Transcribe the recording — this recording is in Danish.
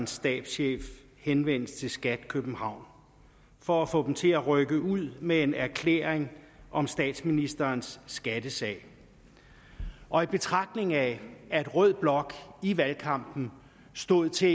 stabschef henvendelse til skat københavn for at få dem til at rykke ud med en erklæring om statsministerens skattesag og i betragtning af at rød blok i valgkampen stod til